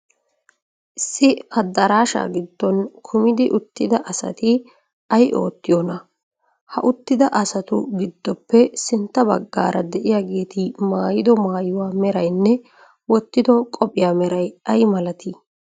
Issi adaraashaa giddon kumidi uttida asati ay oottiyoonaa? Ha uttida asatu giddpppe sintta baggaara de'iyaageeti maayido maayuwa meraynne wottido qophiya meray ay malatii?